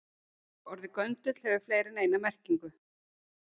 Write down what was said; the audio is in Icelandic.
Orðið göndull hefur fleiri en eina merkingu.